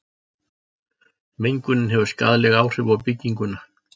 mengunin hefur skaðleg áhrif á bygginguna